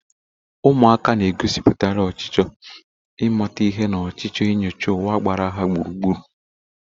Ụmụaka na-egosipụtakarị ọchịchọ ịmata ihe na ọchịchọ inyocha ụwa gbara ha gburugburu.